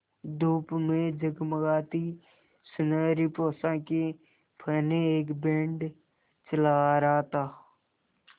धूप में जगमगाती सुनहरी पोशाकें पहने एक बैंड चला आ रहा था